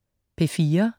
P4: